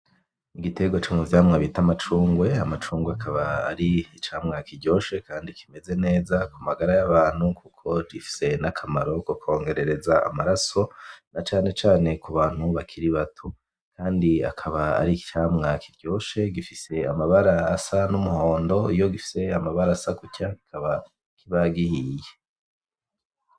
Igitegwa co mu vyamwa c'itwa amacungwe. Amacungwe akaba ari icamwa kiryoshe kandi kimeze neza ku magara yabantu kuko gifise akamaro ko kukwongerereza amaraso na cane cane ku bantu bakiri bato kandi akaba ari icamwa kiryoshe gifise amabara asa n'umuhondo iyo gifise amabara asa gutya kikaba kiba gihiye.